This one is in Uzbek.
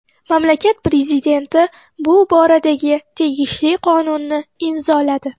Mamlakat prezidenti bu boradagi tegishli qonunni imzoladi.